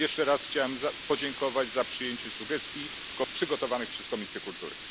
Jeszcze raz chciałem podziękować za przyjęcie sugestii przygotowanych przez Komisję Kultury.